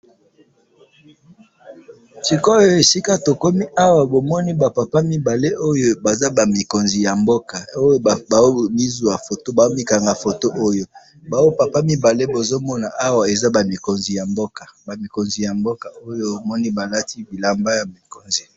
sikoyo esika tokomi awa bomoni ba papa miibale oyo baza komizuwa foto baza ba mikonzi ya mboka ba mikonzi ya mboka oyo bomoni balati bilamba ya mikonzi.